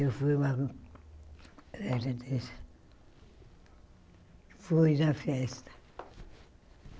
Eu fui uma... Ela diz... Eu fui na festa.